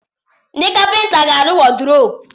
Ndị kapịnta ga-arụ wọrdrọpu.